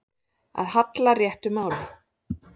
Að halla réttu máli